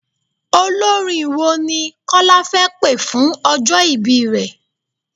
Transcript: Olórin wo ni Kọ́lá fẹ́ pé fún ọjọ́ ìbí rẹ?